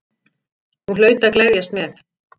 Hún hlaut að gleðjast með.